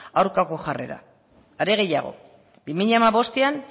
aurkako jarrera are gehiago bi mila hamabostean